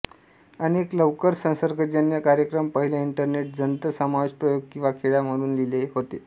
अनेक लवकर संसर्गजन्य कार्यक्रम पहिल्या इंटरनेट जंत समावेश प्रयोग किंवा खोड्या म्हणून लिहिले होते